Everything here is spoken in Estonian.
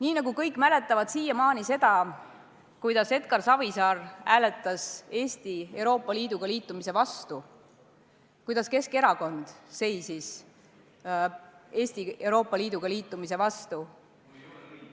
Nii nagu kõik mäletavad siiamaani seda, kuidas Edgar Savisaar hääletas Eesti Euroopa Liiduga liitumise vastu, kuidas Keskerakond seisis Eesti Euroopa Liiduga liitumise vastu,